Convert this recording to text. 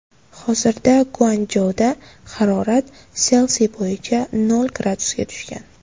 Hozirda Guanchjouda harorat Selsiy bo‘yicha nol gradusga tushgan.